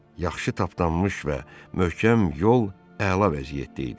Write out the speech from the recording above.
Yaxşı tapdanmış və möhkəm yol əla vəziyyətdə idi.